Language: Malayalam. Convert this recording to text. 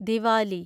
ദിവാലി